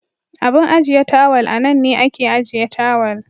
Abun ajiye tawal anan ne ake ajiye tawal.